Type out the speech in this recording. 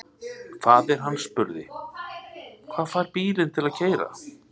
Faðir hann spurði: Hvað fær bílinn til að keyra?